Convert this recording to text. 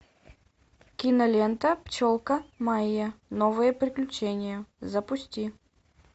кинолента пчелка майя новые приключения запусти